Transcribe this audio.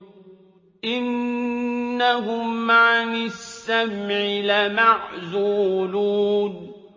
إِنَّهُمْ عَنِ السَّمْعِ لَمَعْزُولُونَ